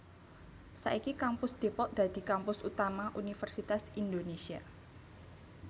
Saiki Kampus Depok dadi kampus utama Universitas Indonésia